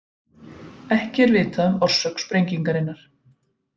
Ekki er vitað um orsök sprengingarinnar